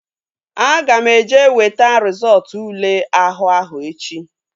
Aga m eje weta rizọọtu ule àhú áhụ̀ echi